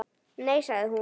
Nei sagði hún.